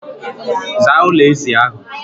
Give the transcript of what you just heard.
Zaa ụlọ ezi ahụ!